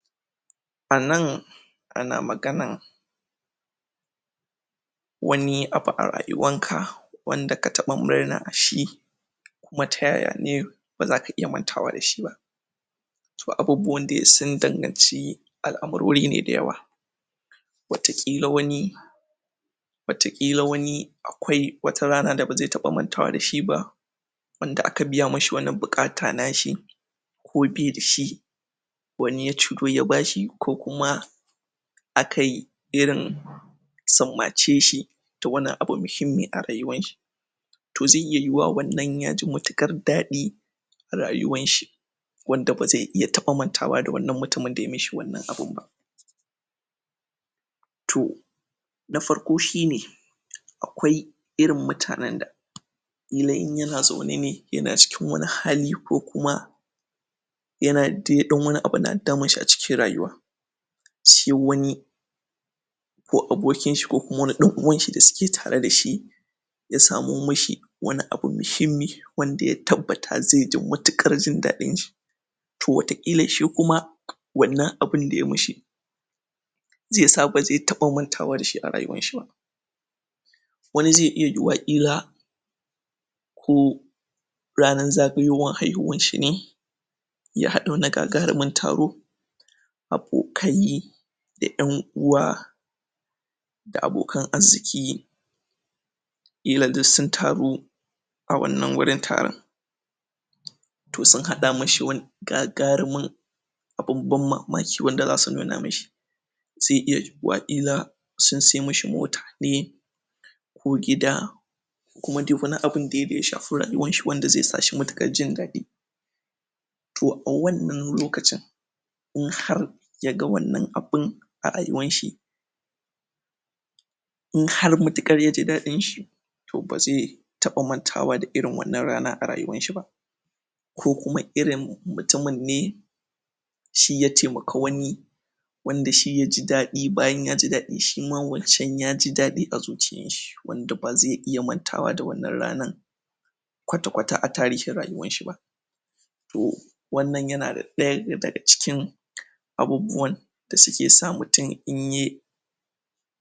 A nan ana maganan wani abu a rayuwanka wanda ka taɓa murna a shi baza ka iya mantawa da shi ba. To abubuwan dai sun danganci al'amarori ne da yawa. Wataƙila wani um akwai wata rana da bazai taɓa mantawa da shi ba wanda aka biya mishi wani buƙata na shi, ko bai da shi wani ya ciro ya bashi, ko kuma akai irin sammace sihi da wani abu muhimmi a rayuwanshi. To zai iya yiwuwa wannan ya ji matuƙar daɗi rayuwanshi. wanda ba zai iya taɓa mantawa da wannan mutumin da ya mishi wannan abun ba. To na farko shine: akwai irin mutanen da ƙila in yana zauna ne yana cikin wani hali ko kuma um dai ɗa wani abu na damun shi a cikin rayuwa. Sai wani ko abokinshi ko kuma wani ɗan uwanshi d asuke tare dashi ya samo mishi wani abu muhimmi wanda ya tabbata zai ji matuƙar jin daɗin shi. To wataƙila shi kuma, wannan abun da ya mishi zai sa ba zai taɓa mantawa da shi a rayuwan shi ba. wani zai iya yiwuwa ƙila ko ranar zagayowar haihuwan shi ne ya haɗa wani gagarumin taro abokai da 'yan uwa da abokan azziki ƙila duk sun taru a wannan wurin taron. To sun haɗa mishi wan gagarumin abun ban mamaki wanda zasu nuna mishi. Zai iya yiwuwa ƙila sun ai mishi mota ne, ko gida, ku ma dai wani abun dai da ya shafi rayuwarshi wanda zai sa shi matuƙar jin daɗi. To a wannan lokacin, in har ya ga wannan abun a rayuwan shi in har matuƙar ya ji daɗin shi, to ba zai taɓa mantawa da irin wannan rana a rayuwarshi ba. Ko kuma irin mutumin ne, shi ya taimaka wani wanda shi ya ji daɗi, bayan ya ji daɗi shima wancan ya ji daɗi a zuciyanshi. wanda ba zai iya mantawa da wannan ranan kwata-kwata a tarihin rayuwarshi ba. To wannan yana ɗaya daga cikin abubuwan da suke sa mutum in ye